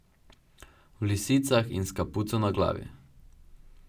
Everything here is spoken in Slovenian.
V lisicah in s kapuco na glavi.